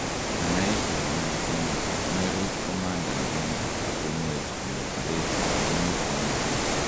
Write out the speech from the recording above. anaaeshe konyil somok, kanerech komanda agenge ak komuech kole parech ak gonuutnyun